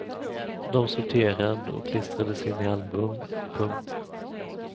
De sorterad och klistrades in i album. punkt